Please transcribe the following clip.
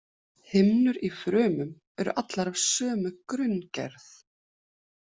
Himnur í frumum eru allar af sömu grunngerð.